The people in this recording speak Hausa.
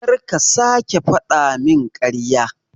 Karka sake fadamin karya.